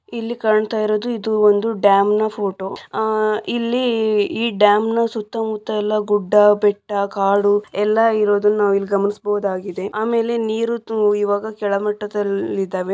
ಇಲ್ಲಿ ಕಾಣ್ತಾ ಇರೋದು ಇದು ಒಂದು ಡ್ಯಾಮ್ ಫೋಟೋ ಆಹ್ ಇಲ್ಲಿ ಈ ಡ್ಯಾಮ್ ನ ಸುತ್ತಮುತ್ತ ಇಲ್ಲ ಗುಡ್ಡ ಬೆಟ್ಟ ಕಾಡು ಎಲ್ಲ ಇರೋದನ್ನ ನಾವು ಇಲ್ಲಿ ಗಮನಿಸಬಹುದಾಗಿದೆ ಆಮೇಲೆ ನೀರು ಇವಾಗ ಕೆಳಮಟ್ಟದಲ್ಲಿ ಇದವೆ.